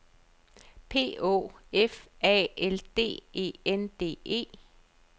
P Å F A L D E N D E